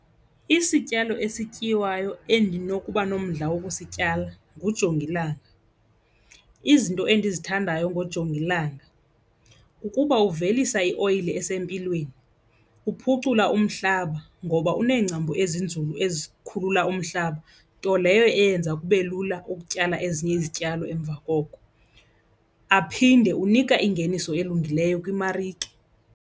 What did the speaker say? Isityalo esityiwayo endinokuba nomdla wokusityala ngujongilanga. Izinto endizithandayo ngojongilanga kukuba uvelisa ioyile esempilweni, uphucula umhlaba ngoba uneengcambu ezinzulu ezikhulula umhlaba, nto leyo eyenza kube lula ukutyala ezinye izityalo emva koko. Aphinde unika ingeniso elungileyo kwimarike.